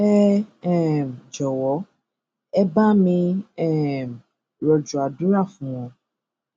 ẹ um jọwọ ẹ bá mi um rọjò àdúrà fún wọn